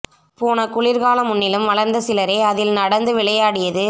போன குளிர்கால முன்னிலும் வளர்ந்த சிலரே அதில் நடந்து விளையாடியது